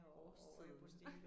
Og årstiden